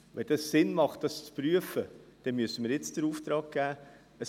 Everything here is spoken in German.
Wenn es Sinn macht, das zu prüfen, müssen wir den Auftrag jetzt geben.